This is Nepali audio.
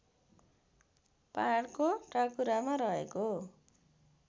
पहाडको टाकुरामा रहेको